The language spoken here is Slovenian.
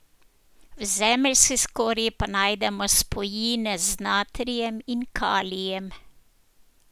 V zemeljski skorji pa najdemo spojine z natrijem in kalijem.